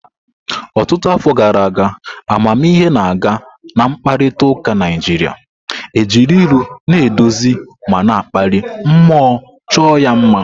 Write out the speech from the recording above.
Ọtụtụ afọ gara aga, amamihe na-aga na mkparịta ụka Naịjirịa, ejiri ilu na-eduzi ma na-akpali mmụọ chọọ ya mma.